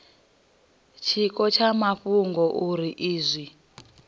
tshiko tsha mafhungo uri izwi